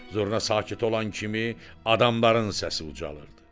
Zurna sakit olan kimi adamların səsi ucalırdı.